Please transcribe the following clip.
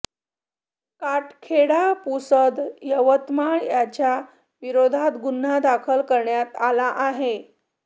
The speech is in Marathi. काटखेडा पुसद यवतमाळ याच्या विरोधात गुन्हा दाखल करण्यात आला आहे